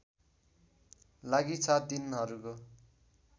लागि सात दिनहरूको